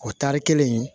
O tari kelen in